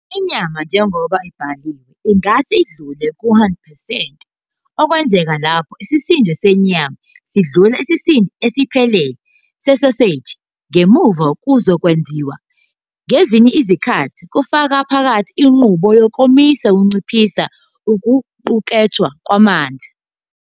Inyama njengoba ibhaliwe ingase idlule ku-100 percent, okwenzeka lapho isisindo senyama sidlula isisindo esiphelele sesoseji ngemva kokwenziwa, ngezinye izikhathi kufaka phakathi inqubo yokomisa okunciphisa okuqukethwe kwamanzi.